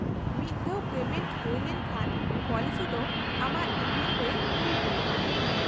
-ᱢᱤᱫ ᱫᱷᱟᱣ ᱯᱮᱢᱮᱱᱴ ᱦᱩᱭ ᱞᱮᱱᱠᱷᱟᱱ , ᱯᱚᱞᱤᱥᱤ ᱫᱚ ᱟᱢᱟᱜ ᱤᱢᱮᱞ ᱨᱮ ᱠᱩᱞ ᱦᱩᱭᱩᱜᱼᱟ ᱾